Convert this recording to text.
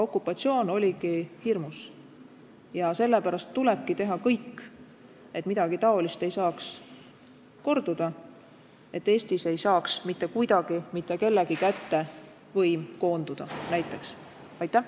Okupatsioon oligi hirmus ja sellepärast tulebki teha kõik, et midagi taolist ei saaks korduda, et Eestis ei saaks mitte kuidagi mitte kellegi kätte koonduda kogu võim.